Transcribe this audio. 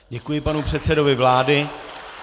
Děkuji panu předsedovi vlády.